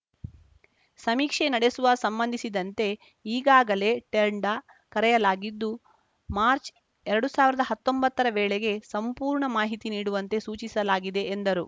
ಸಮೀಕ್ಷೆ ನಡೆಸುವ ಸಂಬಂಧಿಸಿದಂತೆ ಈಗಾಗಲೇ ಟೆಂಡ ಕರೆಯಲಾಗಿದ್ದು ಮಾರ್ಚ್ ಎರಡು ಸಾವಿರದ ಹತ್ತೊಂಬತ್ತರ ವೇಳೆಗೆ ಸಂಪೂರ್ಣ ಮಾಹಿತಿ ನೀಡುವಂತೆ ಸೂಚಿಸಲಾಗಿದೆ ಎಂದರು